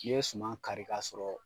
N'i ye suman kari kasɔrɔ